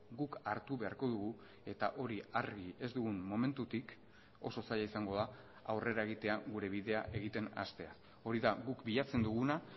guk hartu beharko dugu eta hori argi ez dugun momentutik oso zaila izango da aurrera egitea gure bidea egiten hastea hori da guk bilatzen duguna